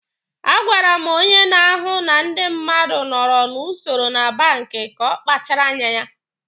A gwara m onye na-ahụ na ndị mmadụ nọrọ n'usoro na banki ka ọ kpachara anya.